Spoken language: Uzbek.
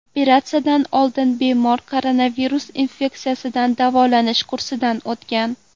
Operatsiyadan oldin bemor koronavirus infeksiyasidan davolanish kursidan o‘tgan.